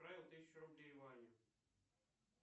отправил тысячу рублей ване